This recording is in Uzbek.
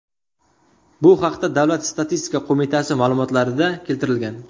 Bu haqda Davlat statistika qo‘mitasi ma’lumotlarida keltirilgan .